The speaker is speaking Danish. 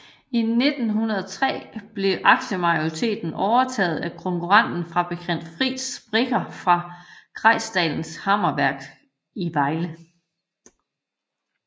I 1903 blev aktiemajoriteten overtaget af konkurrenten fabrikant Fritz Brincker fra Greisdalens Hammerværk i Vejle